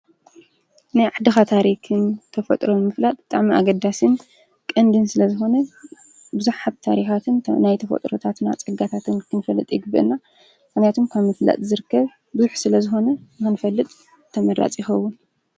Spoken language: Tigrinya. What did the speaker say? ናይ ዓድኻ ታሪኽን ተፈጥሮ ምፍላጥ ጣም ኣገዳስን ቕንድን ስለ ዝነ ብዙኅ ሃብ ታሪኻትን ናይ ተፈጥረታትና ጸጋታትን ክንፈልጥ ይግብእና መንያቱም ካ ምፍላጥ ዘርከብ ብዙኅ ስለ ዝኾነ ምህንፈልጥ ተመራጽ ይኸውን